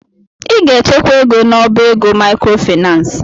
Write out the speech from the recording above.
Ị ga-echekwa ego n'ọbá ego maịkrofaịnans!